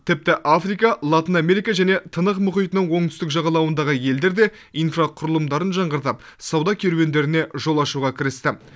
тіпті африка латын америка және тынық мұхитының оңтүстік жағалауындағы елдер де инфрақұрылымдарын жаңғыртып сауда керуендеріне жол ашуға кірісті